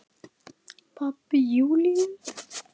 Pabbi Júlíu?